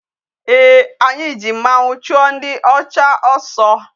Ee, anyị ji mmanwu chuo ndi ocha oso.